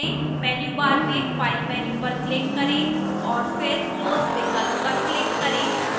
menu bar में file menu पर click करें और फिर close विकल्प पर click करें